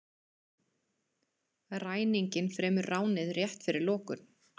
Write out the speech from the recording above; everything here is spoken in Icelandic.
Ræninginn fremur ránið rétt fyrir lokun